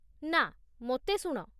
ନା, ମୋତେ ଶୁଣ।